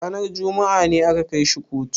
Ranar juma'a ne aka kai shi kotu?